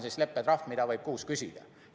See on leppetrahv, mida võib kuus küsida.